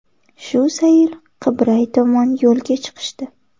Shu zayl Qibray tomon yo‘lga chiqishdi.